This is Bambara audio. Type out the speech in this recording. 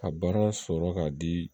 Ka baara sɔrɔ ka di